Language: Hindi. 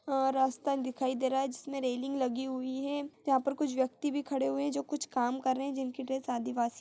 अ रस्ता दिखाईं दे रहा है जिसमें रेलिंग लगी हुई है यहाँ पे कुछ व्यक्ति भी खड़े हुए है जो कुछ काम कर रहे है जिनकी ड्रेस आदिवासी--